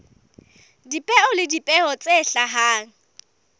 dipeo le dipeo tse hlahang